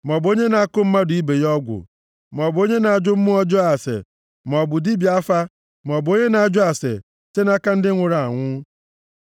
maọbụ onye na-akụ mmadụ ibe ya ọgwụ, maọbụ onye na-ajụ mmụọ ọjọọ ase, maọbụ dibịa afa maọbụ onye na-ajụ ase site nʼaka ndị nwụrụ anwụ.